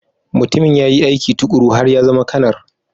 Mutumin ya yi aiki tuƙuru har ya zama Kanar